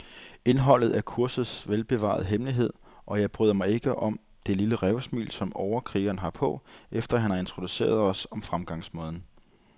Indholdet er kursets velbevarede hemmelighed, og jeg bryder mig ikke om det lille rævesmil, som overkrigeren har på, efter han har introduceret os om fremgangsmåden.